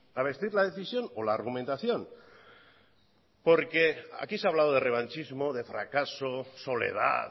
a vestir la decisión o la argumentación aquí se ha hablado de revanchismo de fracaso soledad